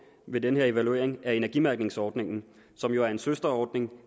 ved den her evaluering er energimærkningsordningen som jo er en søsterordning